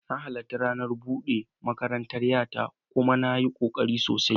Na halarci ranar bude makarantar 'yata kuma ta yi kokari sosai.